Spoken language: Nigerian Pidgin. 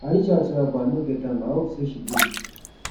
i reach out to her but i no get am i hope say she dey